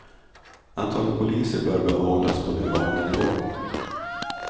Antalet poliser bör behållas på nuvarande nivå.